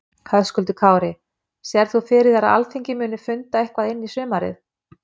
Höskuldur Kári: Sérð þú fyrir þér að Alþingi muni funda eitthvað inn í sumarið?